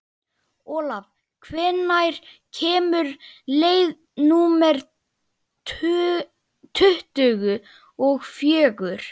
Olav, hvenær kemur leið númer tuttugu og fjögur?